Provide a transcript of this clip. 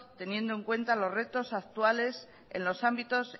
teniendo en cuenta los retos actuales en los ámbitos